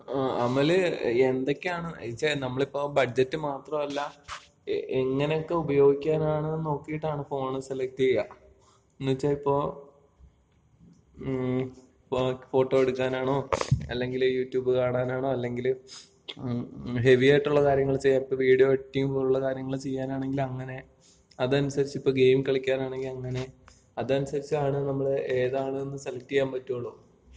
അമല് എന്തൊക്കെയാണ്? എന്ന്ച്ചാ നമ്മളിപ്പോ ബഡ്ജറ്റ് മാത്രമല്ല, എങ്ങനെയൊക്കെ ഉപയോഗിക്കാനാണെന്ന് നോക്കീട്ടാണ് ഫോൺ സെലക്ട് ചെയ്യുക. എന്ന്ച്ചാ ഇപ്പൊ ഫോട്ടോ എടുക്കാനാണോ, അല്ലെങ്കില് യൂട്യൂബ് കാണാനാണോ അല്ലെങ്കില് ഹെവിയായിട്ടുള്ള കാര്യങ്ങള് ചെയ്യാൻ, ഇപ്പൊ വീഡിയോ എഡിറ്റിംഗ് പോലുള്ള കാര്യങ്ങള് ചെയ്യാനാണെങ്കില് അങ്ങനെ. അതനുസരിച്ചിപ്പോ ഗെയിം കളിക്കാനാണെങ്കി അങ്ങനെ. അതനുസരിച്ചാണ് നമ്മള് ഏതാണെന്ന് സെലക്ട് ചെയ്യാൻ പറ്റുള്ളൂ.